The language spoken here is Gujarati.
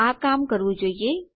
આ કામ કરવું જોઈએ